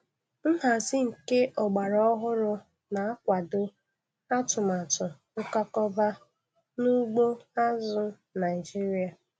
Nhazi nke ọgbara ọhụrụ na-akwado atụmatụ nkwakọba n'ugbo azụ̀ Naịjiria.